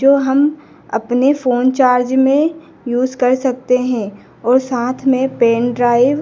जो हम अपने फोन चार्ज में यूज कर सकते हैं और साथ में पेन ड्राइव --